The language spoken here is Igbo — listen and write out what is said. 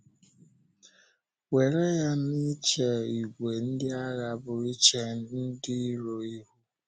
Were ya na ịche ìgwè ndị agha bụ́ iche ndị iro ihu.